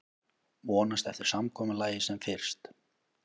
Vonast eftir samkomulagi sem fyrst